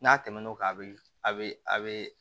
N'a tɛmɛn'o kan a bɛ a bɛ a bɛ